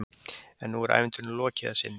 En nú er ævintýrinu lokið að sinni.